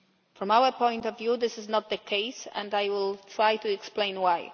From our point of view, this is not the case and I will try to explain why.